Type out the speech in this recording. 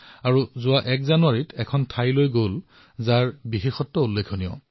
সেয়ে তেওঁ এক জানুৱাৰী তাৰিখে এক বিশেষ স্থানলৈ যাত্ৰা কৰিছিল